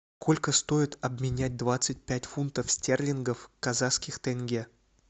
сколько стоит обменять двадцать пять фунтов стерлингов в казахских тенге